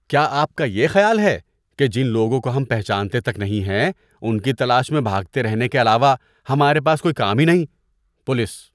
کیا آپ کا یہ خیال ہے کہ جن لوگوں کو ہم پہچانتے تک نہیں ہیں ان کی تلاش میں بھاگتے رہنے کے علاوہ ہمارے پاس کوئی کام ہی نہیں؟ (پولیس)